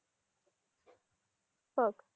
बघ.